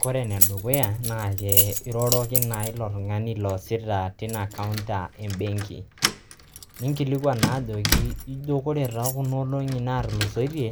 kore ene dukuya naa iroroki naa ilo tungani loosita tina counter embenki nikilikwan naa ajoki nijo ore too kuna olongi naatulusoitie